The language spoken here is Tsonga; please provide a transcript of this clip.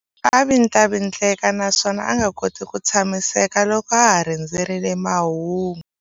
A vindlavindleka naswona a nga koti ku tshamiseka loko a ha rindzerile mahungu.